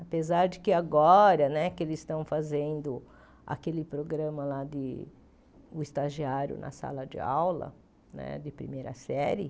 Apesar de que agora que eles estão fazendo aquele programa lá de o estagiário na sala de aula né de primeira série,